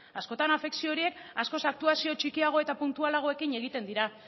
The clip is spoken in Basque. askotan afekzio horiek askoz aktuazio txikiago eta puntualagoekin egiten dira